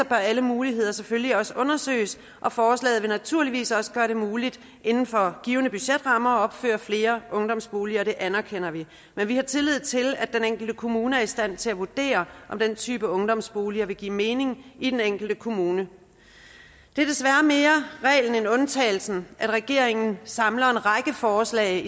bør alle muligheder selvfølgelig også undersøges forslaget vil naturligvis også gøre det muligt inden for givne budgetrammer at opføre flere ungdomsboliger og det anerkender vi men vi har tillid til at den enkelte kommune er i stand til at vurdere om den type ungdomsboliger vil give mening i den enkelte kommune det er desværre mere reglen end undtagelsen at regeringen samler en række forslag